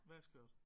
Hvad er skørt